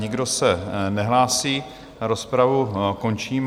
Nikdo se nehlásí, rozpravu končím.